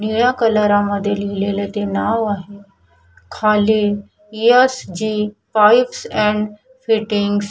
निळ्या कालरामध्ये लिहिलेल ते नाव आहे खाली S G toys and fittings --